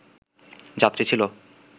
যাত্রী ছিল